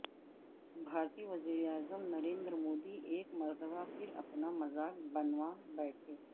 بھارتی وزیراعظم نریندر مودی ایک مرتبہ پھر اپنا مذاق بنوا بیٹھے